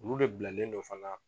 Olu de bilalen don fana